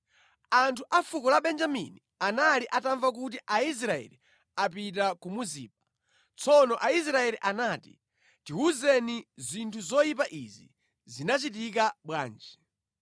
Anthu a fuko la Benjamini anali atamva kuti Aisraeli apita ku Mizipa. Tsono Aisraeli anati, “Tiwuzeni, zinthu zoyipa izi zinachitika bwanji.”